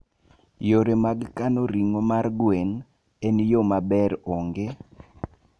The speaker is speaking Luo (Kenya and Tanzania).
Yore mag kano ring'o mar gwen e yo maber onge.